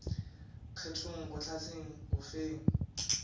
kgethong go hlahleng go feng